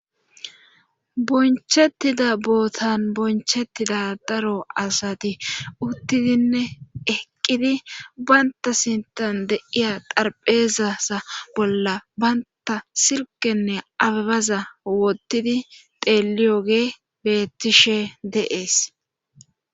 bonchettida bootan bonchettida daro asati uttidinne eqqidi baynta sintan de'iya xarpheezasa bolla baynta silkenne ababaza wottidi xeeliyoge beettishe de7ees.